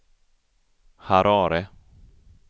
Harare